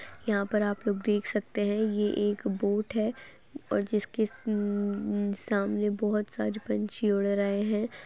यहाँ पर आप लोग देख सकते है। ये एक बोट है और जिसके उम सामने बहुत सारे पंछी उड़ रहे है।